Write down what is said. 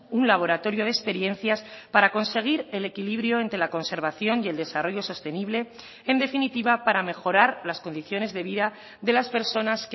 un laboratorio de experiencias para conseguir el equilibrio entre la conservación y el desarrollo sostenible en definitiva para mejorar las condiciones de vida de las personas